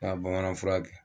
Taa bamanan fura kɛ